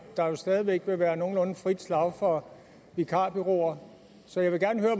der jo stadig væk vil være nogenlunde frit slag for vikarbureauer så jeg vil gerne høre